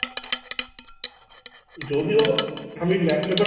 যদিও আমি laptop এর